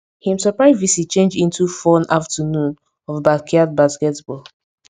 him surprise visit change into fun afternoon of backyard basketball